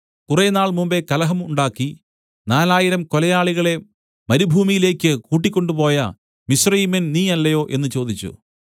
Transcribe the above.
കുറേനാൾ മുമ്പെ കലഹം ഉണ്ടാക്കി നാലായിരം കൊലയാളികളെ മരുഭൂമിയിലേക്ക് കൂട്ടിക്കൊണ്ടുപോയ മിസ്രയീമ്യൻ നീ അല്ലയോ എന്നു ചോദിച്ചു